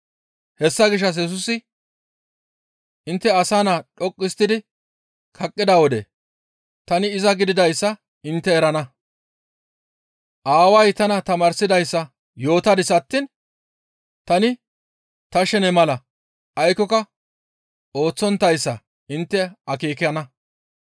Hessa gishshas Yesusi, «Intte Asa Naa dhoqqu histtidi kaqqida wode tani iza gididayssa intte erana; aaway tana tamaarsidayssa yootadis attiin tani ta shene mala aykkoka ooththonttayssa intte akeekana.